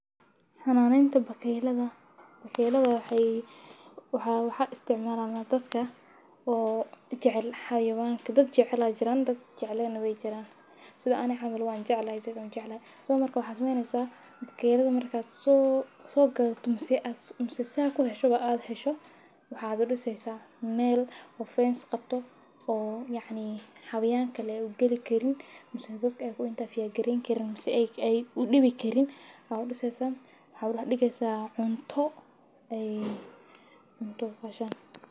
xunanitan bakelada bakayla waxay u waxay isticmaalaa dadka oo jeclaha yawaankii dad jeclaan jiraan dad jeclaan way jiraan siday anigo caamal waan jeclaan zaiid uu jeclaan. So markuu some naynaysa keydka markaad soo soo gad dhamsi aad umsadeysa ku hesho badu hesho waxaad u dhisaysaa meel oo fence qabto oo yaani xayawaan kale u geli karin umseysas ay dhadku interfere iyo garin karin si ay ay u dhibi karin ha u dhiisa hab la dhigaysa cunto ay cunto ka shaqsi.